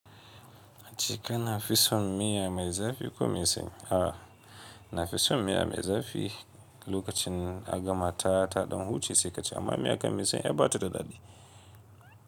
A ci kana fi son miya mai zafi ko me sanyi? A'a, nafison miya mai zafi lokacin a gama ta ta ɗan huce saikaci amma miya kam mai sanyi ai ɓata da dadi.